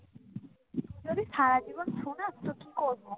যদি সারাজীবন শোনাস তো কি করব?